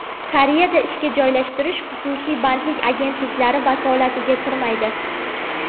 Koreyada ishga joylashtirish xususiy bandlik agentliklari vakolatiga kirmaydi.